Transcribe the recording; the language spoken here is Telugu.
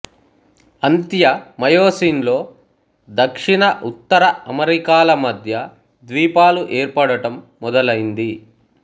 అంత్య మయోసీన్లో దక్షిణ ఉత్తర అమెరికాల మధ్య ద్వీపాలు ఏర్పడటం మొదలైంది